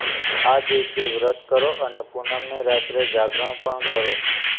આ દિવસે વ્રત કરો અને પૂનમની રાત્રે જાગરણ પણ કરો